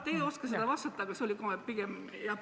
Te ei oska sellele vastata, see oli pigem repliik.